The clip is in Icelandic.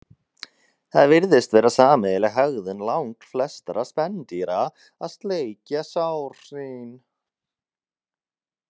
Það virðist vera sameiginleg hegðun langflestra spendýra að sleikja sár sín.